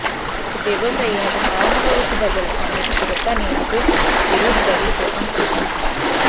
କିଛି ବ୍ୟବସାୟୀ ଏହାକୁ ପାଳନ କରୁଥିବା ବେଳେ ଅନ୍ଯ କିଛି ଦୋକାନୀ ଏହାକୁ ବିରୋଧ କରି ଦୋକାନ ଖୋଲିଛନ୍ତି